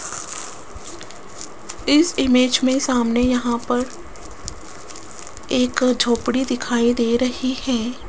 इस इमेज में सामने यहां पर एक झोपड़ी दिखाई दे रही है।